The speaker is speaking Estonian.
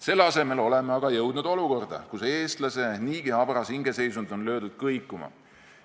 Selle asemel oleme aga jõudnud olukorda, kus eestlase niigi habras hingeseisund on löödud kõikuma.